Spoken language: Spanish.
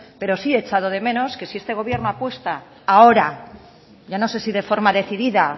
pero sí he echado de menos que si este gobierno apuesta ahora ya no sé si de forma decidida